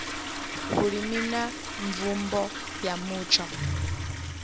vhulimi na mvumbo ya mutsho